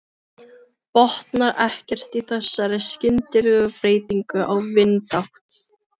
Botnar ekkert í þessari skyndilegu breytingu á vindátt.